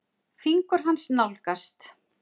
Fingur hans nálgast.